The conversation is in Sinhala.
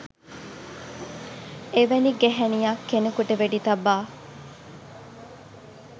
එවැනි ගැහැනියක් කෙනෙකුට වෙඩි තබා